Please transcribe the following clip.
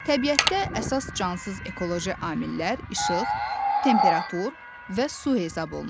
Təbiətdə əsas cansız ekoloji amillər işıq, temperatur və su hesab olunur.